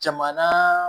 Jamana